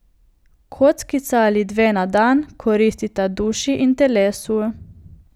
Kockica ali dve na dan koristita duši in telesu.